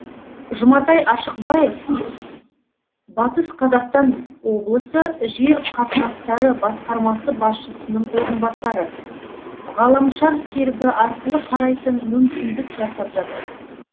жұматай ашықбаев батыс қазақстан облысы жер қатынастары басқармасы басшысының орынбасары ғаламшар серігі арқылы қарайтын мүмкіндік жасап жатырмыз